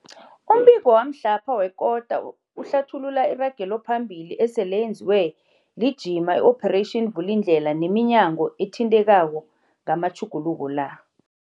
Umbiko wamhlapha wekota uhlathulula iragelophambili esele yenziwe lijima i-Operation Vulindlela neminyango ethintekako ngamatjhuguluko la.